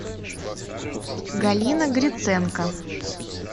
галина гриценко